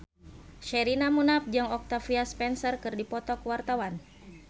Sherina Munaf jeung Octavia Spencer keur dipoto ku wartawan